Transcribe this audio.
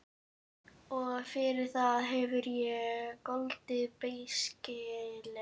Og fyrir það hef ég goldið beisklega.